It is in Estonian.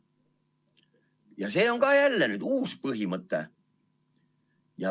Ja see on ka jälle nüüd uus põhimõte.